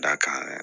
Da kan